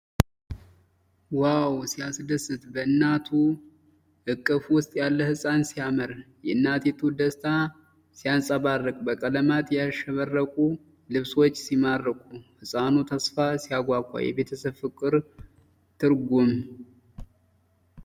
ዋው ሲያስደስት! በእናቷ እቅፍ ውስጥ ያለ ሕፃን ሲያምር! የእናቲቱ ደስታ ሲያንጸባርቅ! በቀለማት ያሸበረቁ ልብሶች ሲማርኩ! የሕፃኑ ተስፋ ሲያጓጓ! የቤተሰብ ፍቅር ግሩም!